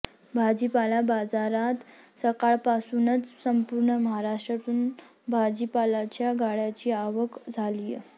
भाजीपाला बाजारात सकाळापासूनच संपूर्ण महाराष्ट्रतून भाजीपाल्याच्या गाड्यांची आवक झालीय